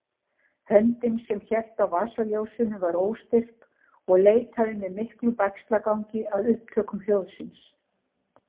Höndin sem hélt á vasaljósinu var óstyrk og leitaði með miklum bægslagangi að upptökum hljóðsins.